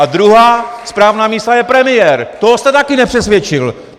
A druhá správná mísa je premiér, toho jste taky nepřesvědčil!